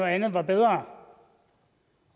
andet var bedre